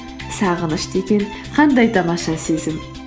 сағыныш деген қандай тамаша сезім